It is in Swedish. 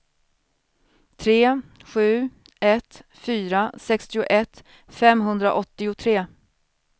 tre sju ett fyra sextioett femhundraåttiotre